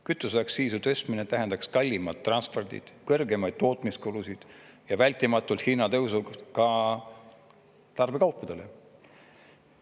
Kütuseaktsiisi tõstmine tähendaks kallimat transporti, kõrgemaid tootmiskulusid, vältimatut hinnatõusu ka tarbekaupadele.